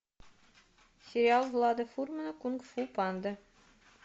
сериал влада фурмана кунг фу панда